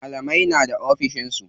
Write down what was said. Malamai na da ofishin su.